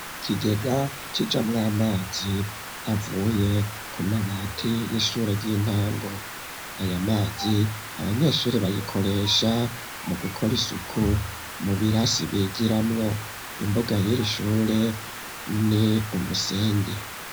Ikigega kijamw'amazi avuye ku mabati y'ishure y'intango, aya mazi abanyeshuri bayikoresha mu gukora isuku mu birasi bigiramwo, imbuga yir'ishure ni umusenyi.